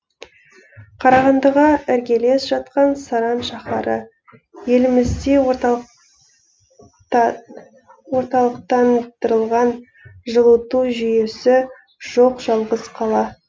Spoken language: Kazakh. қарағандыға іргелес жатқан саран шаһары елімізде орталықтандырылған жылыту жүйесі жоқ жалғыз қала